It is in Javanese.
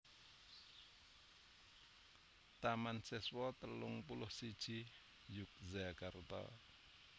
Taman Siswa telung puluh siji Yogyakarta